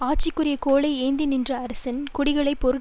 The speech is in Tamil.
ஆட்சிக்குறிய கோலை ஏந்தி நின்ற அரசன் குடிகளை பொருள்